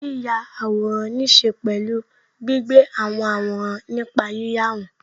Yíya àwòrán ní ṣe pẹ̀lú gbígbé àwọn àwòrán nípa yíyà wọn